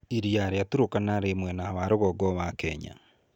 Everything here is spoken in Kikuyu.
Iria rĩa Turkana rĩ mwena wa rũgongo wa Kenya.